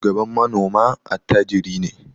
Shugaban manoma attajiri ne.